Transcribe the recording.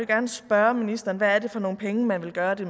gerne spørge ministeren hvad er det for nogle penge man vil gøre det